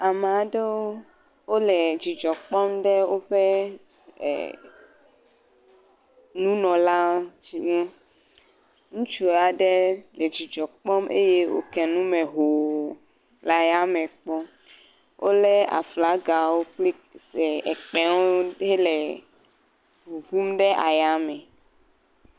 Ame aɖewo wole dzidzɔ kpɔm ɖe woƒe er nunɔla ŋu. Ŋutsu aɖe le dzidzɔ kpɔm eye woke nu me hoo le ayame kpɔm. Wolé aflagawo kple se kpẽwo hele ŋuŋum ɖe ayame.